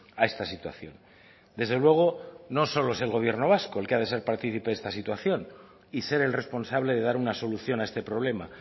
a esta situación desde luego no solo es el gobierno vasco el que ha de ser partícipe de esta situación y ser el responsable de dar una solución a este problema